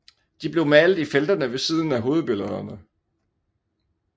De blev malet i felterne ved siden af hovedbillederne